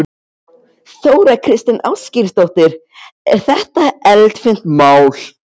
Þóra Kristín Ásgeirsdóttir: Er þetta eldfimt mál?